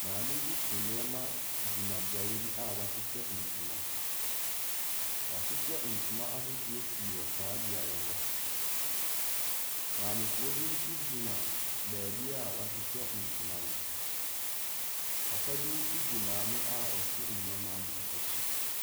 Maame bi so nneɛma gyina beaeɛ bi a wɔahyehyɛ ntoma. Wɔahyehyɛ ntoma ahodoɔ pii wɔ saa beaeɛ hɔ. Maamefoɔ bi nso gyina baabi a wɔahyehyɛ ntoma no. Papa bi nso di maame a ɔso nneɛma no akyi.